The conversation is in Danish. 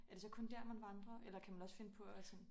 Er det så kun dér man vandrer eller kan man også finde på at sådan